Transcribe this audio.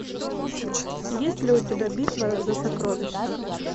есть ли у тебя битва за сокровища